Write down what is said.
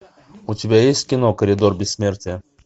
у тебя есть кино коридор бессмертия